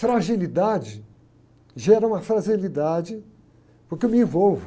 Fragilidade, gera uma fragilidade porque eu me envolvo.